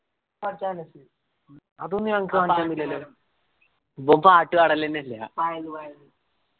ആ സ്ഥലത്ത്